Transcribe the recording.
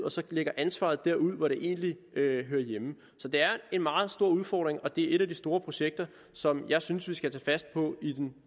og lægger ansvaret derud hvor det egentlig hører hjemme så det er en meget stor udfordring og det er et af de store projekter som jeg synes vi skal tage fat på i den